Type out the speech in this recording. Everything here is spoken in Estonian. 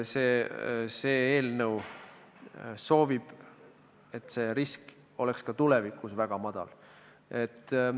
See eelnõu soovib, et see risk oleks ka tulevikus väga madal.